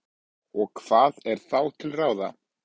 Og hvað er þá til ráða?